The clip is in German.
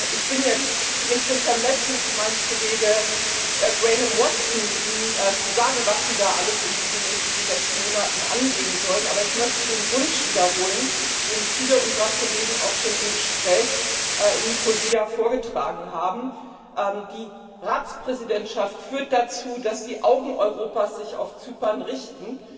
Ich bin nicht so vermessen wie mein Kollege Graham Watson, Ihnen zu sagen, was Sie alles in den nächsten sechs Monaten angehen sollen. Aber ich möchte den Wunsch wiederholen, den viele unserer Kollegen auch schon im Gespräch in Nikosia vorgetragen haben Die Ratspräsidentschaft führt dazu, dass sich die Augen Europas auf Zypern richten,